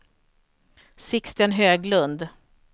Sixten Höglund